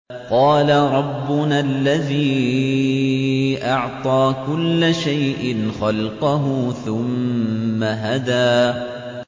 قَالَ رَبُّنَا الَّذِي أَعْطَىٰ كُلَّ شَيْءٍ خَلْقَهُ ثُمَّ هَدَىٰ